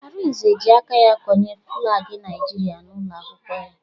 Arinze ji aka ya konye flaagi Naijiria n'ụlọ akwụkwọ ya